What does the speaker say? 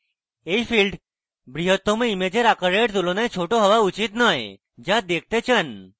এই field বৃহত্তম ইমেজের আকারের তুলনায় ছোট হওয়া উচিত নয় যা দেখতে চান